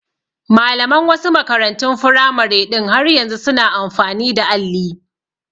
Malaman wasu makarantun firamare ɗin har yanzu su na amfani da alli